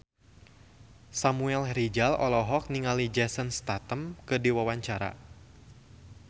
Samuel Rizal olohok ningali Jason Statham keur diwawancara